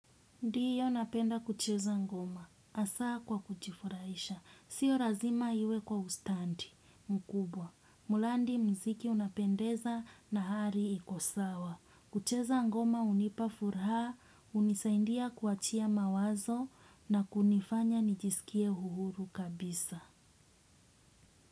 Ndiyo napenda kucheza ngoma. Asa kwa kujifuraisha. Sio razima iwe kwa ustandi mkubwa. Mulandi mziki unapendeza na hali iko sawa. Kucheza ngoma unipa furaha, unisaindia kuwachia mawazo na kunifanya nijisikie uhuru kabisa.